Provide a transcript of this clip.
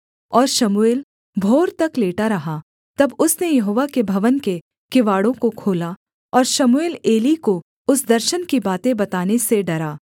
और शमूएल भोर तक लेटा रहा तब उसने यहोवा के भवन के किवाड़ों को खोला और शमूएल एली को उस दर्शन की बातें बताने से डरा